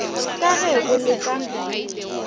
ka ge bo le ka